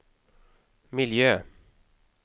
miljö